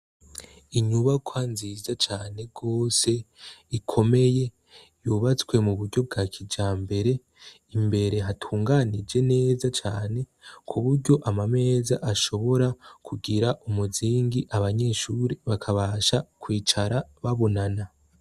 Inyubakwa nziza cane rwose ikomeye yubatswe mu buryo bwa kijambere imbere hagunganije neza cane ku buryo amameza ashobora kugira umuzingi abanyeshure bakabasha kwicara babonana.